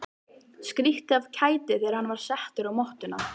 Skríkti af kæti þegar hann var settur á mottuna.